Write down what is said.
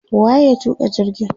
wa ye ya tuka jirgin?